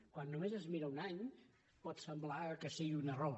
quan només es mira un any pot semblar que sigui un error